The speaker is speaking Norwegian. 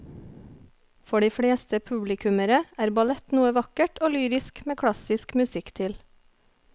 For de fleste publikummere er ballett noe vakkert og lyrisk med klassisk musikk til.